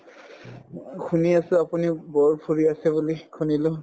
শুনি আছো আপুনি বহুত ফুৰি আছে বুলি শুনিলো